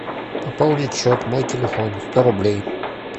пополнить счет мой телефон сто рублей